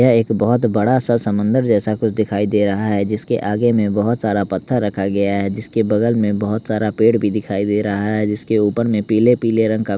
यह एक बहुत बड़ा सा समंदर जैसा कुछ दिखाई दे रहा है जिसके आगे में बहुत सारा पत्थर रखा गया है जिसके बगल में बहुत सारा पेड़ भी दिखाई दे रहा है जिसके ऊपर में पीले पीले रंग का --